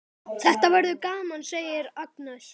Þetta verður gaman, segir Agnes.